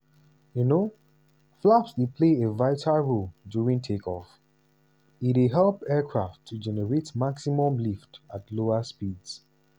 um flaps dey play a vital role during take-off - e dey help aircraft to generate maximum lift at lower speeds.